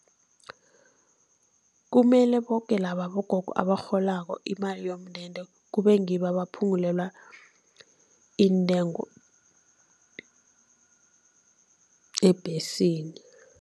Kumele boke laba abogogo abarholako imali yomndende kube ngibo abaphungulelwe iintengo ebhesini.